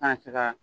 Kana se ka